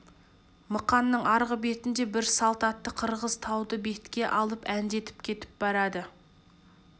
мықанның арғы бетінде бір салт атты қырғыз тауды бетке алып әндетіп кетіп барады